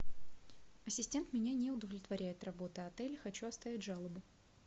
ассистент меня не удовлетворяет работа отеля хочу оставить жалобу